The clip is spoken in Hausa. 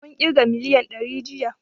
Mun ƙirga miliyan dari jiya